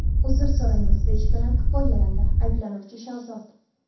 Uzr so‘raymiz”, – deyish bilan kifoyalandi ayblanuvchi Shahzod.